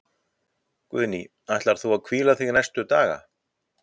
Guðný: Ætlar þú að hvíla þig næstu daga?